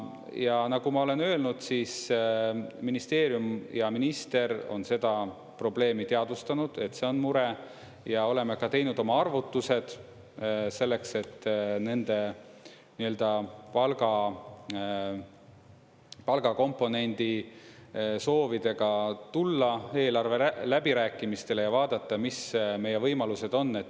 Ja nagu ma olen öelnud, siis ministeerium ja minister on seda probleemi teadvustanud, et see on mure, ja oleme teinud oma arvutused selleks, et nende palgakomponendi soovidega tulla eelarve läbirääkimistele ja vaadata, mis meie võimalused on.